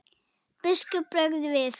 Biskupi bregður við.